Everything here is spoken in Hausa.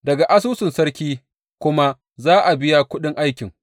Daga asusun sarki kuma za a biya kuɗin aikin.